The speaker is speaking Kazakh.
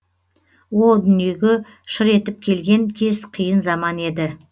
ол дүниеге шыр етіп келген кез қиын заман еді